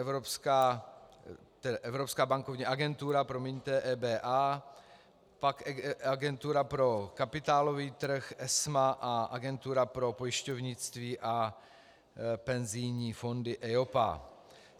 Evropská bankovní agentura, promiňte, EBA, pak Agentura pro kapitálový trh - ESMA a Agentura pro pojišťovnictví a penzijní fondy EIOPA.